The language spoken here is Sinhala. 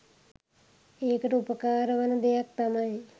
ඒකට උපකාර වන දෙයක් තමයි